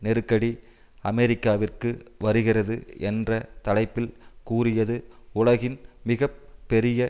நெருக்கடி அமெரிக்காவிற்கு வருகிறது என்ற தலைப்பில் கூறியது உலகின் மிக பெரிய